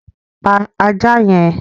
Pa ajá yẹn!